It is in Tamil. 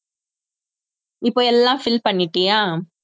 இப்போ எல்லாம் fill பண்ணிட்டியா